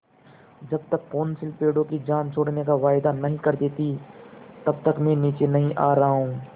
जब तक कौंसिल पेड़ों की जान छोड़ने का वायदा नहीं कर देती तब तक मैं नीचे नहीं आ रहा हूँ